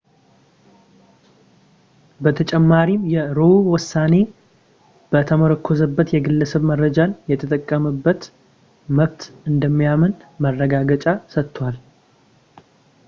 በተጨማሪም የroe ውሳኔ በተመረኮዘበት የግለሰብ መረጃን የመጠበቅ መብት እንደሚያምንም ማረጋገጫ ሰጥቷል